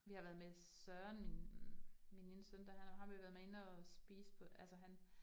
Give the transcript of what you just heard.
Vi har været med Søren, min min ene søn der har vi været med inde og spise på altså han